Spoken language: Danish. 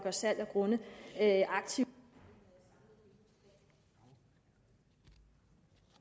og salg af grunde aktivt …